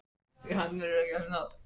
Það voru allir felmtri slegnir.